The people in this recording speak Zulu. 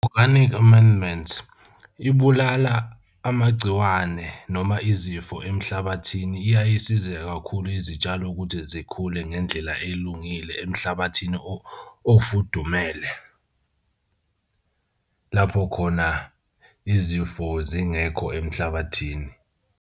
Organic amendments ibulala amagciwane noma izifo emhlabathini. Iyaye isize kakhulu izitshalo ukuthi zikhule ngendlela elungile emhlabathini ofudumele lapho khona izifo zingekho emhlabathini.